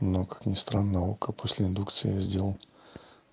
но как ни странно око после индукции я сделал